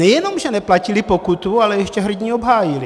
Nejenom že neplatili pokutu, ale ještě hrdinně obhájili.